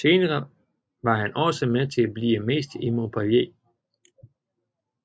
Senere var han også med til at blive mester med Montpellier